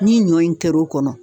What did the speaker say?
Ni ɲɔ in kɛr'o kɔnɔ